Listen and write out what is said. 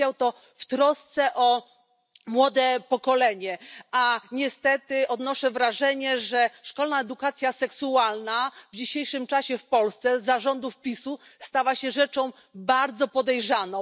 Powiedział to w trosce o młode pokolenie, a niestety odnoszę wrażenie, że szkolna edukacja seksualna w dzisiejszym czasie w Polsce za rządów PiS u stała się rzeczą bardzo podejrzaną.